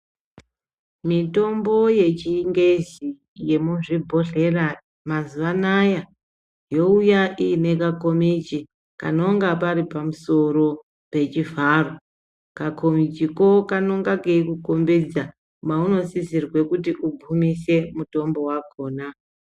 Mitombo yechingezi yemuzvibhodhlera mazuva anaya youya iine kakomichi kanonga kari pamusoro pechivharo. Kakomichiko kanenge keikukombidza maunosisirwe kuti ugumise mutombo vakona.